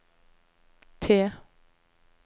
T